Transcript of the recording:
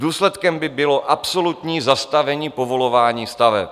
Důsledkem by bylo absolutní zastavení povolování staveb."